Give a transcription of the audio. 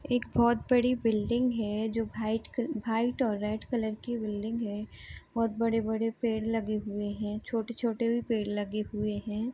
एक बहुत बड़ी बिल्डिंग है जो वाइट कल वाइट और रेड कलर की बिल्डिंग है बहुत बड़े-बड़े पेड़ लगे हुए हैं छोटे-छोटे भी पेड़ लगे हुए हैं।